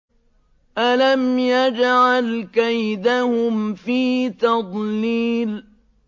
أَلَمْ يَجْعَلْ كَيْدَهُمْ فِي تَضْلِيلٍ